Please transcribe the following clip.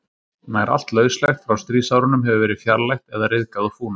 nær allt lauslegt frá stríðsárunum hefur verið fjarlægt eða ryðgað og fúnað